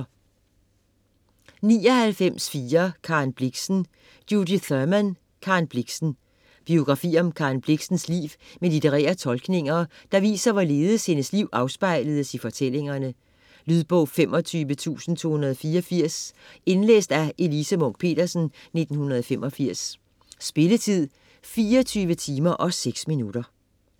99.4 Blixen, Karen Thurman, Judith: Karen Blixen Biografi om Karen Blixens liv med litterære tolkninger, der viser hvorledes hendes liv afspejles i fortællingerne. Lydbog 25284 Indlæst af Elise Munch-Petersen, 1985. Spilletid: 24 timer, 6 minutter.